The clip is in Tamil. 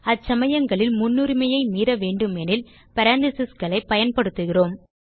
அச்சமயங்களில் முன்னுரிமையை மீற வேண்டுமெனில் parenthesesகளை பயன்படுத்துகிறோம்